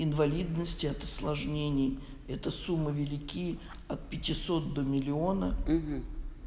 инвалидности от осложнений это сумма велики от пятисот до миллиона